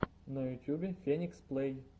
на ютьюбе феникс плэй